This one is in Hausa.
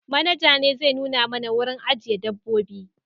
Manaja ne zai nuna mana wurin ajiye dabbobi